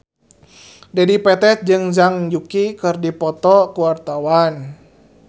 Dedi Petet jeung Zhang Yuqi keur dipoto ku wartawan